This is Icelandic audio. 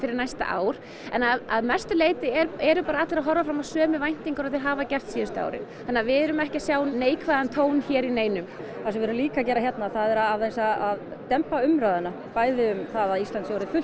næsta ár en að mestu leyti eru allir að horfa fram á sömu væntingar og þeir hafa gert síðustu árin þannig við erum ekki að sjá neinn neikvæðan tón hér hjá neinum það sem við erum líka að gera hérna er aðeins að dempa umræðuna bæði um það að Ísland sé orðið fullt